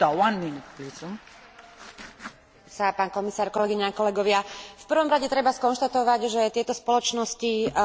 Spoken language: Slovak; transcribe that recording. V prvom rade treba skonštatovať, že tieto spoločnosti nie sú len klamlivé, ony sú podvodnícke.